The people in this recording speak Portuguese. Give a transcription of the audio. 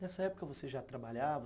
Nessa época você já trabalhava?